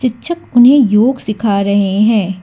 शिक्षक उन्हें योग सिखा रहे हैं।